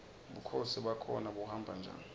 bukhosi bakhona buhamba njani